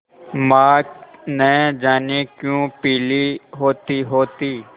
माँ न जाने क्यों पीली होतीहोती